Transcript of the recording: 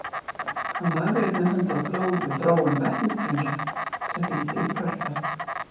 Hann lagði einnig hönd á plóg við þróun vetnissprengja sem fylgdu í kjölfarið.